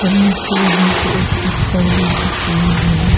मुझे यहां पे एक सिस्टर भी दिख रही है।